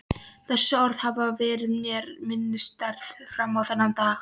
Þessi orð hafa verið mér minnisstæð fram á þennan dag.